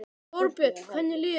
Þorbjörn: Hvernig líður þér?